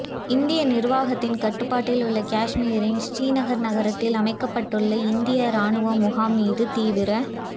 இந்திய நிர்வாகத்தின் கட்டுப்பாட்டில் உள்ள காஷ்மீரின் ஸ்ரீநகர் நகரத்தில் அமைக்கப்பட்டுள்ள இந்திய இராணுவ முகாம் மீது தீவிர